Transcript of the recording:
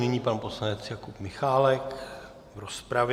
Nyní pan poslanec Jakub Michálek v rozpravě.